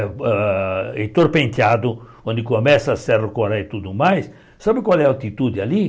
Ah e torpenteado, onde começa a Serra do Coréia e tudo mais, sabe qual é a altitude ali?